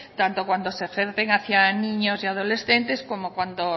tanto cuanto se ejercen hacia niños y adolescentes como cuando